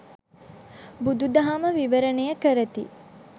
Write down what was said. බුදු දහම විවරණය කරති.